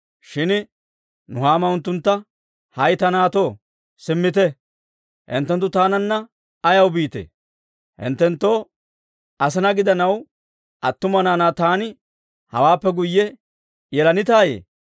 Shin Nuhaama unttuntta, «hay ta naatto, simmite. Hinttenttu taananna ayaw biitee? hinttenttoo asinaa gidanaw attuma naanaa taani hawaappe guyye yelanitaayye?